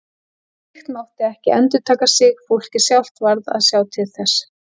Slíkt mátti ekki endurtaka sig, fólkið sjálft varð að sjá til þess.